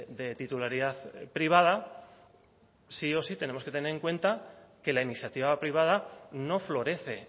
de titularidad privada sí o sí tenemos que tener en cuenta que la iniciativa privada no florece